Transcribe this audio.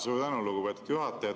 Suur tänu, lugupeetud juhataja!